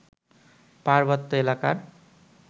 পার্বত্য এলাকার